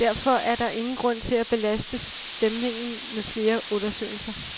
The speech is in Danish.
Derfor er der ingen grund til at belaste stemningen med flere undersøgelser.